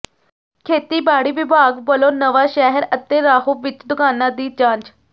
ਖੇਤੀਬਾੜੀ ਵਿਭਾਗ ਵੱਲੋਂ ਨਵਾਂਸ਼ਹਿਰ ਅਤੇ ਰਾਹੋਂ ਵਿੱਚ ਦੁਕਾਨਾਂ ਦੀ ਜਾਂਚ